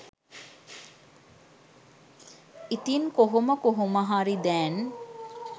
ඉතින් කොහොම කොහොමහරි දැන්